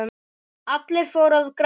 Allir fóru að gráta.